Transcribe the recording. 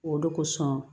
O de kosɔn